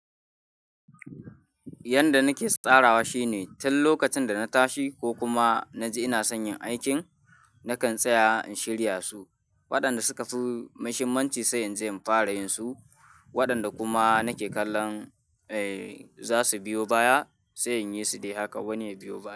Yanda nake tsarawa shine tun lokacin da na tashi ko kuma na ji ina son yin aikin, na kan tsaya in shirya su. Waɗanda suka fi mashimanci sai in je in fara yinsu. Waɗanda kuma nake kallon, eh, za su biyo baya, sai in yi su dai haka wane ya biyo baya.